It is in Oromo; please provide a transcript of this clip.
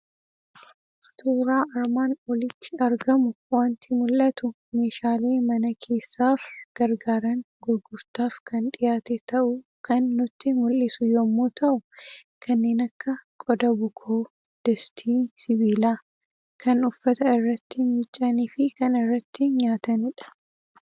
Suuraa armaan olitti argamu wanti mula'atu; meeshaalee mana Keessaaf gargaaran gurgurtaaf kan dhiyaate ta'uu kan nutti mul'isu yommuu ta'u, kanneen akka qoda bukoo, distii sibiilaa, kan uffata irratti micaanifi kan irratti nyaatanidha.